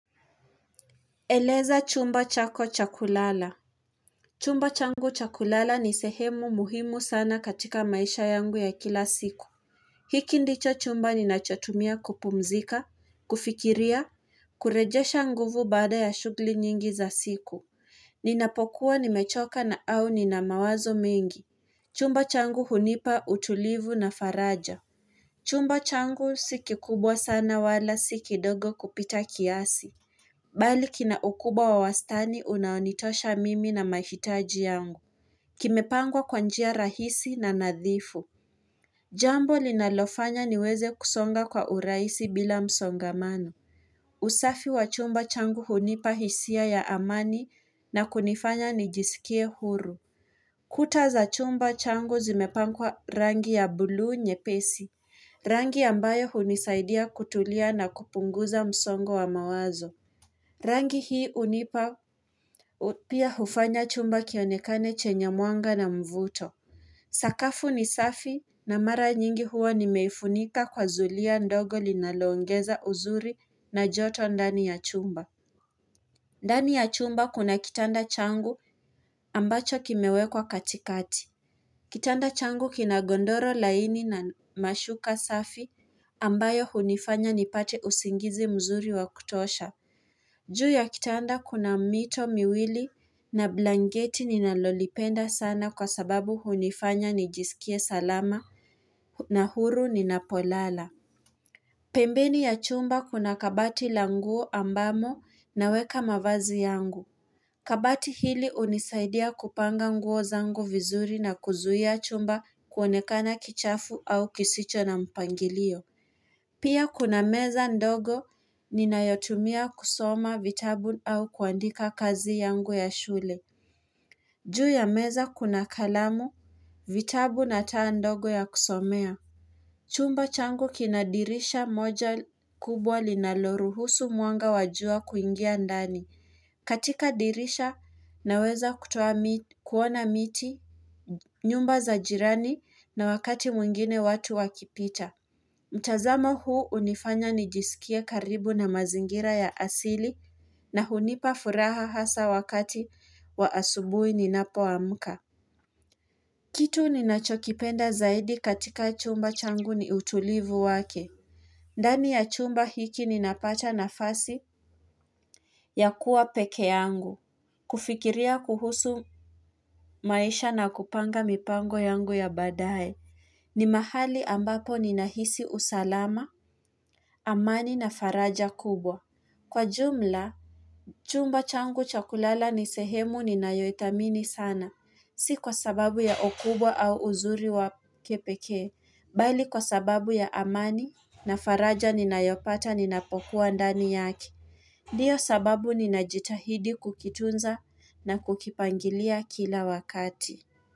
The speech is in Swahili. Eleza chumba chako chakulala. Chumba changu cha kulala ni sehemu muhimu sana katika maisha yangu ya kila siku. Hiki ndicho chumba ninachotumia kupumzika, kufikiria, kurejesha nguvu baada ya shughli nyingi za siku. Ninapokuwa nimechoka na au nina mawazo mengi. Chumba changu hunipa utulivu na faraja. Chumba changu si kikubwa sana wala si kidogo kupita kiasi. Bali kina ukubwa wa wastani unaonitosha mimi na mahitaji yangu. Kimepangwa kwa njia rahisi na nadhifu. Jambo linalofanya niweze kusonga kwa urahisi bila msongamano. Usafi wa chumba changu hunipa hisia ya amani na kunifanya nijiskie huru. Kuta za chumba changu zimepakwa rangi ya buluu nyepesi. Rangi ambayo hunisaidia kutulia na kupunguza msongo wa mawazo. Rangi hii unipa pia hufanya chumba kionekane chenye mwanga na mvuto. Sakafu ni safi na mara nyingi huwa nimeifunika kwa zulia ndogo linaloongeza uzuri na joto ndani ya chumba. Ndani ya chumba kuna kitanda changu ambacho kimewekwa katikati. Kitanda changu kina gondoro laini na mashuka safi ambayo hunifanya nipate usingizi mzuri wakutosha. Juu ya kitanda kuna mito miwili na blanketi ninalolipenda sana kwa sababu hunifanya nijiskie salama na huru nina polala. Pembeni ya chumba kuna kabati la nguo ambamo naweka mavazi yangu. Kabati hili unisaidia kupanga nguo zangu vizuri na kuzuia chumba kuonekana kichafu au kisicho na mpangilio. Pia kuna meza ndogo ninayotumia kusoma vitabu au kuandika kazi yangu ya shule. Juu ya meza kuna kalamu, vitabu na taa ndogo ya kusomea. Chumba changu kinadirisha moja kubwa linaloruhusu mwanga wajua kuingia ndani. Katika dirisha naweza kutoa kuona miti nyumba za jirani na wakati mwingine watu wakipita. Mtazamo huu unifanya nijiskie karibu na mazingira ya asili na hunipa furaha hasa wakati wa asubuhi ninapo amka. Kitu ninachokipenda zaidi katika chumba changu ni utulivu wake. Ndani ya chumba hiki ninapata nafasi ya kuwa pekee yangu. Kufikiria kuhusu maisha na kupanga mipango yangu ya baadae. Ni mahali ambapo ninahisi usalama. Amani na faraja kubwa. Kwa jumla, chumba changu cha kulala nisehemu ni nayoithamini sana. Si kwa sababu ya ukubwa au uzuri wake pekee. Bali kwa sababu ya amani na faraja ninayopata ninapokuwa ndani yake ndio sababu ninajitahidi kukitunza na kukipangilia kila wakati.